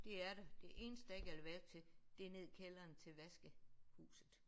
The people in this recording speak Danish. Det er der det eneste der ikke er elevator til det er ned i kælderen til vaskehuset